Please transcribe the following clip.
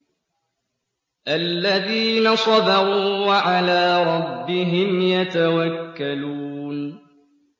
الَّذِينَ صَبَرُوا وَعَلَىٰ رَبِّهِمْ يَتَوَكَّلُونَ